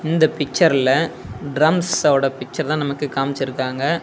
இந்த பிச்சர்ல டிரம்ஸ் ஓட பிச்சர்தா நமக்கு காம்ச்சிருக்காங்க.